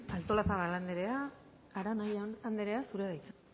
artolazabal anderea arana anderea zurea da hitza